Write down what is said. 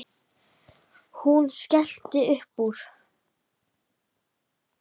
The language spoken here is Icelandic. Hún skellti upp úr.